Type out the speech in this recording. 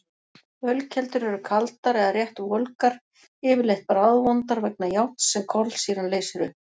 Ölkeldur eru kaldar eða rétt volgar, yfirleitt bragðvondar vegna járns sem kolsýran leysir upp.